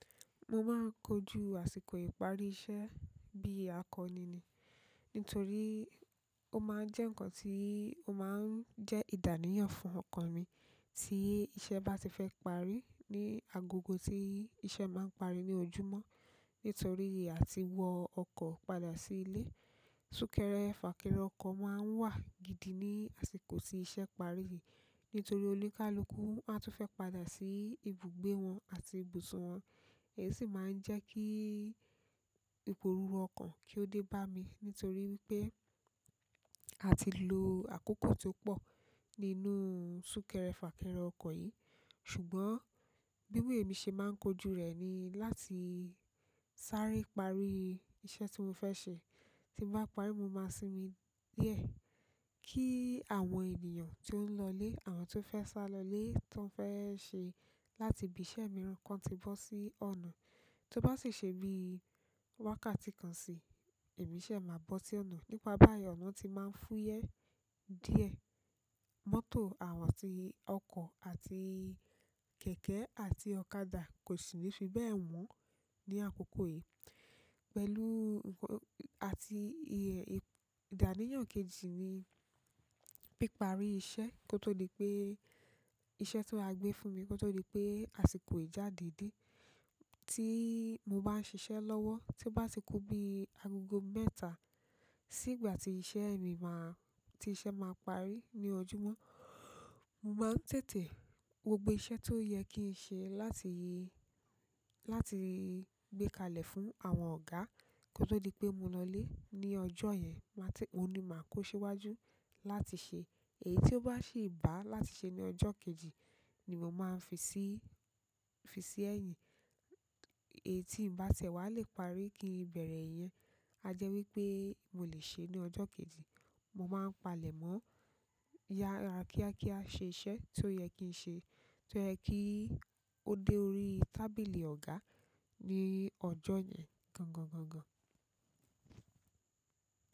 Mo máa ń kojú àsìkò ìparí iṣẹ́ bí akọni ni. Nítorí ó máa ń jẹ́ nǹkan tí ó máa ń jẹ́ àníyàn fún ọkàn mi tí iṣẹ́ bá ti fẹ́ parí ní agogo tí iṣẹ́ máa ń parí ní ojúmọ́. Nítorí a ti wọ ọkọ̀ padà sí ilé. Súnkẹrẹ fàkẹrẹ ọkọ̀ máa ń wà gidi ní àsìkò tí iṣẹ́ parí yìí. Nítorí oníkálukú a tún fẹ́ padà sí ibùgbé wọn àti ibùsùn wọn. Ẹ sì máa ń jẹ́ kí ìpòrúrú ọkọ̀ kí ó dé bá mi, nítorí pé a ti lo àkókò tó pọ̀ nínú súnkẹrẹ fàkẹrẹ ọkọ̀ yìí. Ṣùgbọ́n bí wè é mi ṣe máa ń kojú rẹ̀ ni láti sáré parí iṣẹ́ tí mo fẹ́ ṣe. Tí mo bá parí, mo máa sinmi díẹ̀ kí àwọn ènìyàn tó ń lọlé, àwọn tó fẹ́ sá lọlé tó ń fẹ́ ṣe láti ibi iṣẹ́ mìíràn kan tí bọ́ sí ọ̀nà. Tí ó bá sì ṣe bí wákàtí kan sí, èmi ṣẹ̀ máa bọ́ sí ọ̀nà. Nípa báyìí, ọ̀nà ti máa ń fúyẹ́ díẹ̀. Mọ́tò àwọn àti oko àti kẹ̀kẹ́ àti ọ̀kadà kosini fi bẹ wọn ni àkókò yi. Pẹ̀lú nǹkan àti ìh-- ìdáníyàn kejì ni píparí iṣẹ́ kó tó di pé iṣẹ́ tó á gbé fún mi kó tó di pé àsìkò ìjáde dé. Tí mo bá ń ṣiṣẹ́ lọ́wọ́, tí ó bá ti kún bí agogo mẹ́ta sí ìgbà tí iṣẹ́ ẹni máa-- tí iṣẹ́ máa parí ní ojúmọ́, mo máa ń tètè wo gbogbo iṣẹ́ tó yẹ kí n ṣe láti yé-- láti gbé kalẹ̀ fún àwọn ọ̀gá kó tó di pé mo lọlé. Ni ọjọ́ yẹn, máa ti-- òun ni màá kó ṣíwájú láti ṣe. Èyí tí ó bá sì bà á láti ṣe ní ọjọ́ kejì ni mo máa ń fi síí, fi sí ẹ̀yìn. Èyí tí ǹ bá tẹ̀wá lè parí kí n bẹ̀rẹ̀ ẹ̀ yẹn, a jẹ́ wí pé mo lè ṣe é ní ọjọ́ kejì. Mo máa ń palẹ̀ mọ́ ya ra kíákíá ṣe iṣẹ́ tó yẹ kí n ṣe, tó yẹ kí ó dé orí tábìlì ọ̀gá ní ọjọ́ yẹn gangan, gangan.